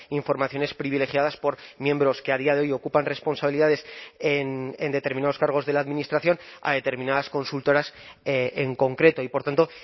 informaciones privilegiadas por miembros que a día de hoy ocupan responsabilidades en determinados cargos de la administración a determinadas consultoras en concreto y por tanto